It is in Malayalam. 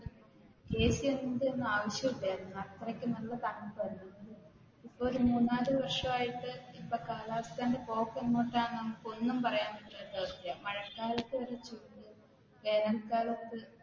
AC ഇടേണ്ട ഒന്നും ആവശ്യമില്ലായിരുന്നു അത്രക്ക് നല്ല തണുപ്പായിരുന്നു. മൂന്ന് നാല് വര്ഷമായിട്ട് കാലാവസ്ഥയുടെ പോക്ക് എങ്ങോട്ടാണെന്ന് നമുക്ക് ഒന്നും പറയാൻ പറ്റാത്ത അവസ്ഥയാണ് മഴക്കാലത്തു വേനൽ കാലത്തു